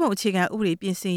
ပုံအခြေခံ ဥပဒေပြင်ဆင်